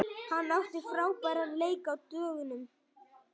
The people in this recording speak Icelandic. Hann átti frábæran leik á dögunum.